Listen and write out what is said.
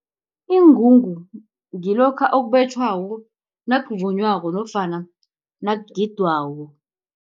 Ingungu ngilokha okubetjhwako nakuvunywako nofana nakugidwako.